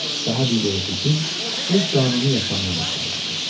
Daha bir yorucu gün öz qanuni yaşamına başlamışdı.